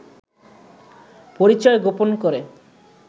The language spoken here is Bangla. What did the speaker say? পরিচয় গোপন করে